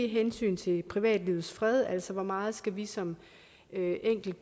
hensynet til privatlivets fred altså hvor meget vi som